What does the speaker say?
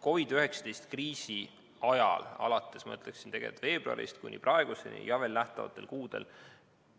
COVID‑19 kriisi ajal, alates, ma ütleksin, veebruarist kuni praeguseni ja veel lähikuudel,